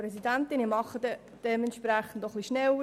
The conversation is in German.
Ich spreche dementsprechend etwas schneller.